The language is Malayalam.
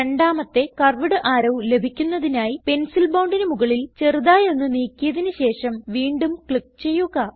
രണ്ടാമത്തെ കർവ്വ്ഡ് അറോ ലഭിക്കുന്നതിനായി പെൻസിൽ bondന് മുകളിൽ ചെറുതായി ഒന്ന് നീക്കിയതിന് ശേഷം വീണ്ടും ക്ലിക്ക് ചെയ്യുക